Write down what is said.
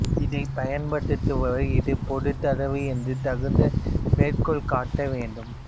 இதைப் பயன்படுத்துவோர் இது பொது தரவு என்று தகுந்த மேற்கோள் காட்ட வேண்டும்